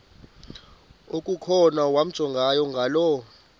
okukhona wamjongay ngaloo